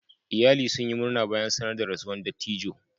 Iyalan sun yi murna bayan sanar da rasuwan dattijo.